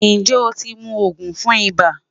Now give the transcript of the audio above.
Njẹ o ti mu oogun fun iba?